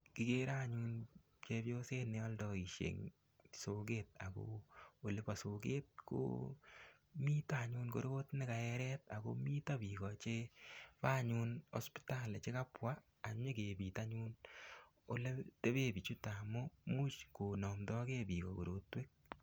Kikere anyun chepyoset neoldoishei eng' soket ako oli bo soket ko mito anyun korot nekaeret ako mito biko chebo anyun hospitali chekabwa anyikebit anyun ole tebe bichuto amu muuch konomdokei biko korotwek